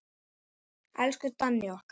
Elsku Danni okkar.